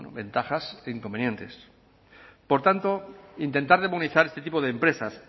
bueno ventajas e inconvenientes por tanto intentar demonizar este tipo de empresas